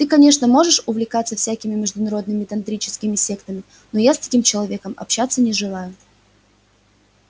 ты конечно можешь увлекаться всякими международными тантрическими сектами но я с таким человеком общаться не желаю